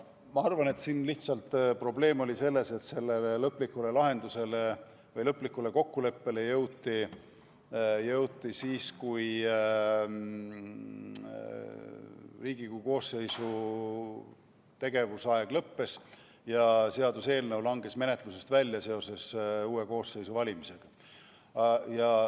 Ma arvan, et probleem oli lihtsalt selles, et lõplikule lahendusele või kokkuleppele jõuti siis, kui Riigikogu koosseisu tegevusaeg lõppes ja seaduseelnõu langes menetlusest välja seoses uue koosseisu valimisega.